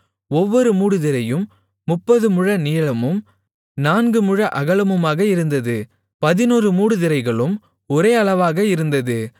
ஒவ்வொரு மூடுதிரையும் முப்பது முழ நீளமும் நான்கு முழ அகலமுமாக இருந்தது பதினொரு மூடுதிரைகளும் ஒரே அளவாக இருந்தது